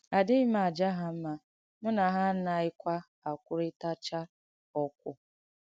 Àdìghī m àjà ha mma, mụ́ na ha ànàghīkwa àkwùrìtàchà ọ̀kwụ̀.